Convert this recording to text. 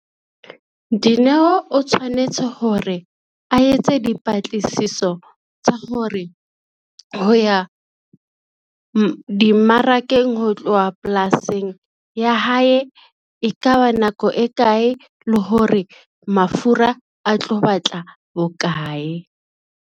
Dineo o tshwanetse hore a etse dipatlisiso tsa hore ho ya, dimmarakeng ho tloha polasing ya hae e ka ba nako e kae, le hore mafura a tlo batla bokae.